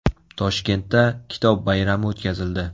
Toshkentda Kitob bayrami o‘tkazildi .